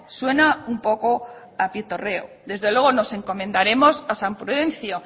suena un poco a pitorreo desde luego nos encomendaremos a san prudencio